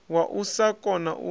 wa u sa kona u